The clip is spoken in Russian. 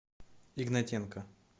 игнатенко